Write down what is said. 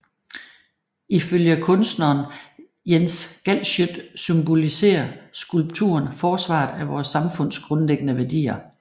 Ifølge kunstneren Jens Galschiøt symboliserer skulpturen forsvaret af vores samfunds grundlæggende værdier